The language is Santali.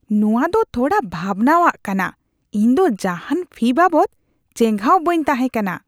ᱱᱚᱶᱟ ᱫᱚ ᱛᱷᱚᱲᱟ ᱵᱷᱟᱵᱱᱟᱣᱟᱜ ᱠᱟᱱᱟ ᱾ ᱤᱧ ᱫᱚ ᱡᱟᱦᱟᱱ ᱯᱷᱤ ᱵᱟᱵᱚᱫ ᱪᱮᱸᱜᱷᱟᱣ ᱵᱟᱹᱧ ᱛᱟᱦᱮᱸ ᱠᱟᱱᱟ ᱾